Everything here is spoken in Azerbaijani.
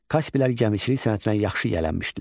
Kasplər gəmiçilik sənətinə yaxşı yiyələnmişdilər.